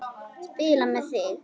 Spila með þig?